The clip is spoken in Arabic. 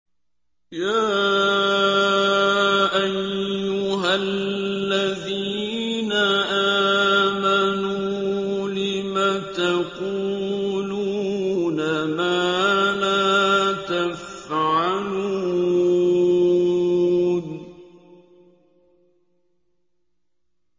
يَا أَيُّهَا الَّذِينَ آمَنُوا لِمَ تَقُولُونَ مَا لَا تَفْعَلُونَ